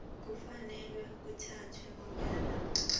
kufanele kuthathwe bonyana